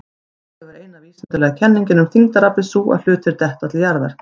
Í upphafi var eina vísindalega kenningin um þyngdaraflið sú að hlutir detta til jarðar.